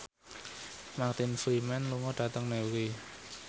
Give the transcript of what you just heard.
Martin Freeman lunga dhateng Newry